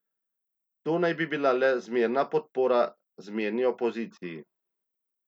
To naj bi bila le zmerna podpora zmerni opoziciji.